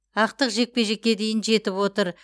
ақтық жекпе жеке дейін жетіп отыр